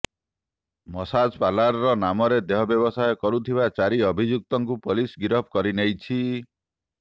massage parlour ନାମରେ ଦେହ ବ୍ୟବସାୟ କରୁଥିବା ଚାରିଅଭିଯୁକ୍ତଙ୍କୁ ପୋଲିସ୍ ଗିରଫ କରିନେଇଛି